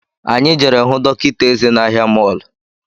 Anyị jere hụ dọkịta eze n’ahia mọlụ